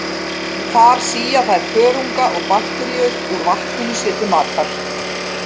Þar sía þær þörunga og bakteríur úr vatninu sér til matar.